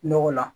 Nɔgɔ la